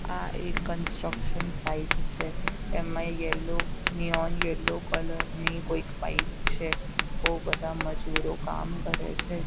આ એક construction site છે એમાં યલો નિયોન યેલો કલર ની કોઈક પાઇપ છે બો બધા મજૂરો કામ કરે છે.